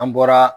An bɔra